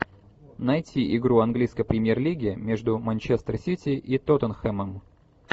найти игру английской премьер лиги между манчестер сити и тоттенхэмом